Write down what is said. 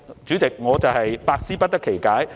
主席，我實在百思不得其解。